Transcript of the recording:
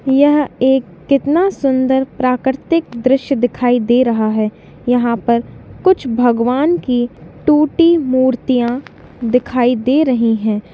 यह एक कितना सुन्दर प्राकृतिक दृश्य दिखाई दे रहा है यहा पर कुछ भगवान की टूटी मूर्तियाँ दिखाई दे रही है।